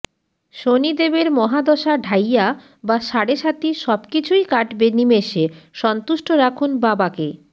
শনিদেবের মহাদশা ঢাইয়া বা সাড়ে সাতি সব কিছুই কাটবে নিমেষে সন্তুষ্ট রাখুন বাবাকে